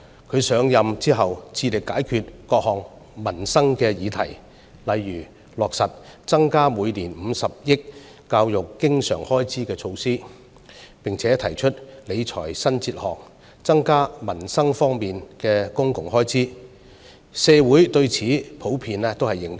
她上任後致力解決各項民生議題，例如落實增加每年50億元教育經常開支的措施，並且提出理財新哲學，增加民生方面的公共開支，社會對此普遍認同。